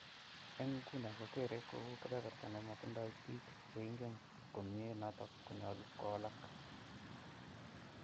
Eng nguno kokekere kou kepeperta nematindo biik che ingen komnye noto konyolu kowalak.